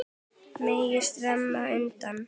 Bægisá rennur undan.